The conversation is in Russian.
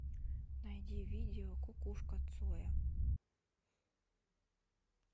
найди видео кукушка цоя